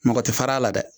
Mɔgɔ tɛ fara a la dɛ